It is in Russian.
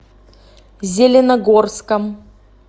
зеленогорском